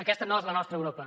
aquesta no és la nostra europa